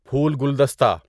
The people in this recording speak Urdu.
پھول گلدستہ